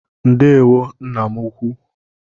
Ndewo nna m ukwu.